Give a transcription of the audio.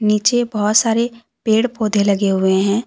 नीचे बहुत सारे पेड़ पौधे लगे हुए है।